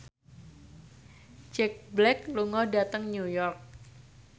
Jack Black lunga dhateng New York